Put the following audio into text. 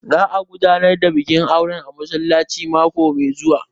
Za a gudanar da bikin aure a masallaci mako mai zuwa